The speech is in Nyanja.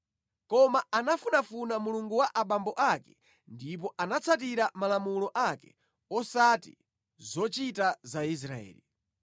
Koma anafunafuna Mulungu wa abambo ake ndipo anatsatira malamulo ake osati zochita za Israeli.